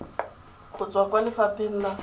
go tswa kwa lefapheng la